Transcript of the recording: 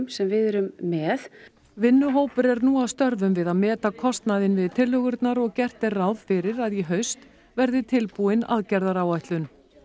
sem við erum með vinnuhópur er nú að störfum við að meta kostnaðinn við tillögurnar og gert er ráð fyrir að í haust verði tilbúin aðgerðaáætlun